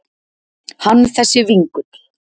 Hann þessi vingull.